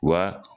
Wa